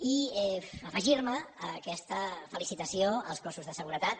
i afegir me a aquesta felicitació als cossos de seguretat